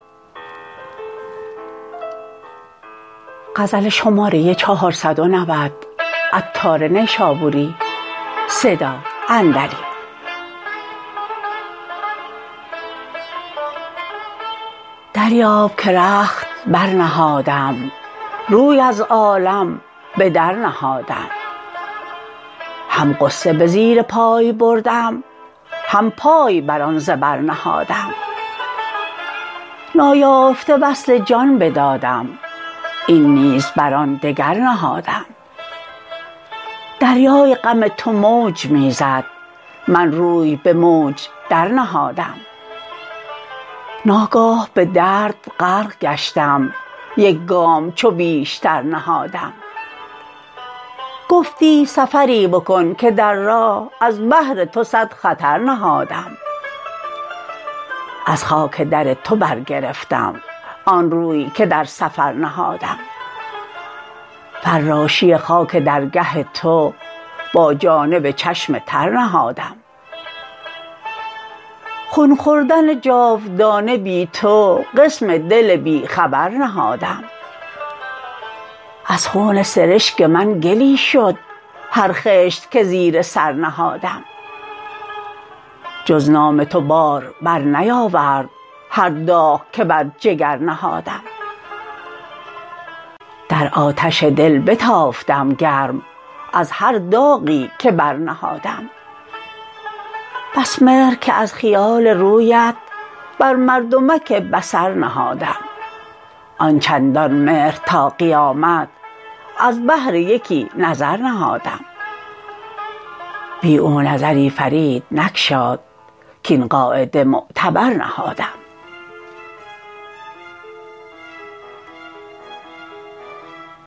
دریاب که رخت برنهادم روی از عالم بدر نهادم هم غصه به زیر پای بردم هم پای به آن زبر نهادم نایافته وصل جان بدادم این نیز بر آن دگر نهادم دریای غم تو موج می زد من روی به موج در نهادم ناگاه به درد غرق گشتم یک گام چو بیشتر نهادم گفتی سفری بکن که در راه از بهر تو صد خطر نهادم از خاک در تو برگرفتم آن روی که در سفر نهادم فراشی خاک درگه تو با جانب چشم تر نهادم خون خوردن جاودانه بی تو قسم دل بی خبر نهادم از خون سرشک من گلی شد هر خشت که زیر سر نهادم جز نام تو بار بر نیاورد هر داغ که بر جگر نهادم در آتش دل بتافتم گرم از هر داغی که بر نهادم بس مهر که از خیال رویت بر مردمک بصر نهادم آن چندان مهر تا قیامت از بهر یکی نظر نهادم بی او نظری فرید نگشاد کین قاعده معتبر نهادم